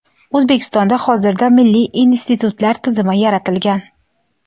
O‘zbekistonda hozirda milliy institutlar tizimi yaratilgan.